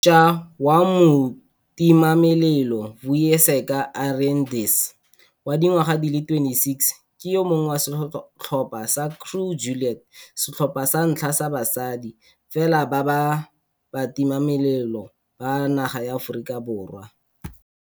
Mošwa wa motimamelelo Vuyiseka Arendse, wa dingwaga di le 26, ke yo mongwe wa setlhopha sa Crew Juliet, setlhopha sa ntlha sa basadi fela ba batimamelelo ba naga ya Aforika Borwa.